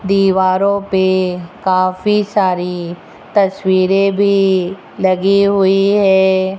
दीवारों पे काफी सारी तस्वीरे भी लगी हुई है।